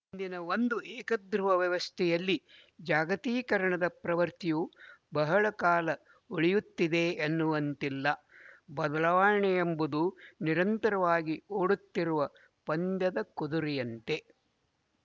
ಇಂದಿನ ಒಂದು ಏಕಧ್ರುವ ವ್ಯವಸ್ಥೆಯಲ್ಲಿ ಜಾಗತೀಕರಣದ ಪ್ರವೃತ್ತಿಯು ಬಹಳ ಕಾಲ ಉಳಿಯುತ್ತದೆ ಎನ್ನುವಂತಿಲ್ಲ ಬದಲಾವಣೆಯೆಂಬುದು ನಿರಂತರವಾಗಿ ಓಡುತ್ತಿರುವ ಪಂದ್ಯದ ಕುದುರೆಯಂತೆ